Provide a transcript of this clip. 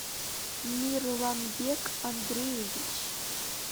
мирланбек андреевич